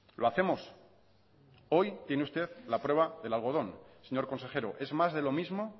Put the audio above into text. lo hacemos hoy tiene usted la prueba del algodón señor consejero es más de lo mismo